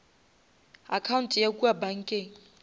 account ya kua bankeng